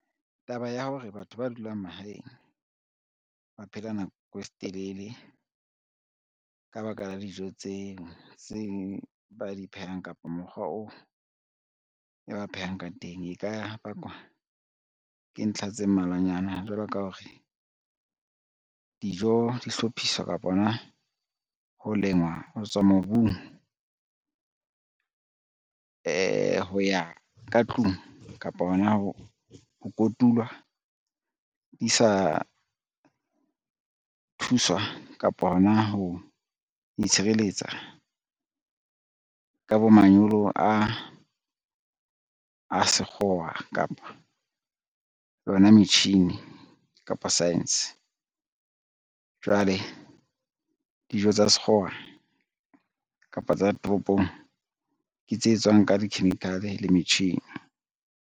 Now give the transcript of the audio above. Taba ya hore batho ba dulang mahaeng ba phela nako e telele ka ba ka la dijo tse ba di phehang, kapa mokgwa oo e ba phehang ka teng. E ka bakwa ke ntlha tse mmalwanyana, jwalo ka ho re, dijo di hlophiswa kapa hona ho lengwa ho tswa mobung, ho ya ka tlung kapa hona ho kotulwa di sa thuswa kapa hona ho itshireletsa ka bo manyolo a sekgowa, kapa yona metjhini, kapo science. Jwale dijo tsa sekgowa kapa tsa toropong ke tse etswang ka di-chemical le metjhini.